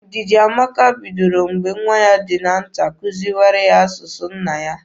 Ndidiamaka bidoro mgbe nwa ya dị nta kuziwara ya asụsụ nna ya.